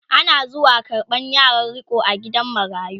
Ana zuwa karɓan yaran riko a gidan marayu